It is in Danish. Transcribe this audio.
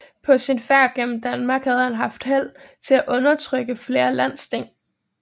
På sin færd gennem Danmark havde han haft held til at undertrykke flere landsting